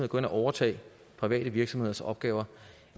gå ind og overtage private virksomheders opgaver